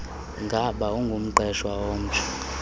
ngaba ungumqeshwa omtsha